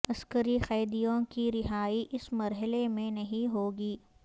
عسکری قیدیوں کی رہائی اس مرحلے میں نہیں ہوگی